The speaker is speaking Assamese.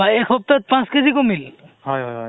হয় মোক হয় মই উম অহ্